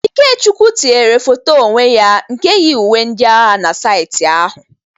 Ikechukwu tinyere foto onwe ya nke yi uwe ndị agha na saịtị ahụ.